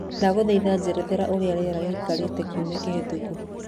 ndagũthaĩtha njethera ũrĩa rĩera rĩgaĩkara kĩumĩa gĩũkĩte